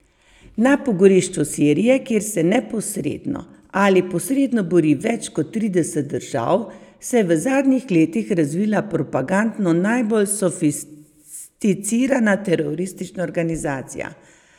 Na pogorišču Sirije, kjer se neposredno ali posredno bori več kot trideset držav, se je v zadnjih letih razvila propagandno najbolj sofisticirana teroristična organizacija.